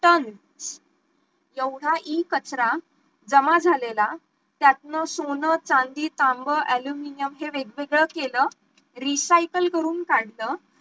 ton एवढा इ कचरा जमा झालेला त्यातनं सोनं, चांदी, ऍल्युमिनिअम हे वेगवेगळं केलं recycle करून काढलं